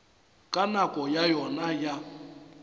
ka nako ya yona ya